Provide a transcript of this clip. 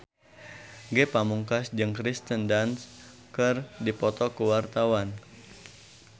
Ge Pamungkas jeung Kirsten Dunst keur dipoto ku wartawan